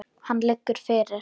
Hann liggur fyrir.